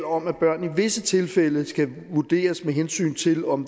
om at børn i visse tilfælde skal vurderes med hensyn til om